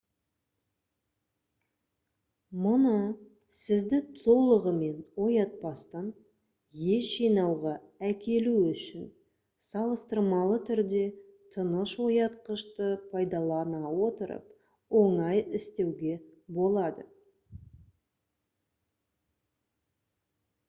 мұны сізді толығымен оятпастан ес жинауға әкелу үшін салыстырмалы түрде тыныш оятқышты пайдалана отырып оңай істеуге болады